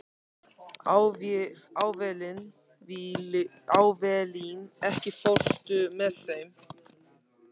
Avelín, ekki fórstu með þeim?